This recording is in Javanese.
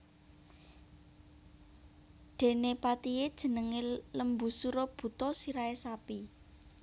Dene patihe jenenge Lembusura buta sirahe sapi